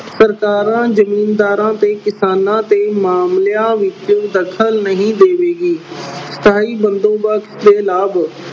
ਸਰਕਾਰਾਂ ਜ਼ਿੰਮੀਦਾਰਾਂ ਤੇ ਕਿਸਾਨਾਂ ਦੇ ਮਾਮਲਿਆਂ ਵਿੱਚ ਦਖਲ ਨਹੀਂ ਦੇਵੇਗੀ। ਸਥਾਈ ਬੰਦੋਬਸਤ ਦੇ ਲਾਭ